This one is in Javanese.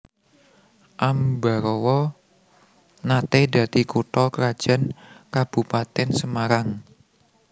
Ambarawa naté dadi kutha krajan Kabupatèn Semarang